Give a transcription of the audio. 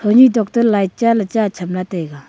ni tokto light cha ley chat cham taiga.